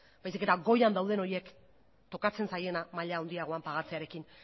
baizik eta goian dauden horiek tokatzen zaiena maila handiagoan pagatzearekin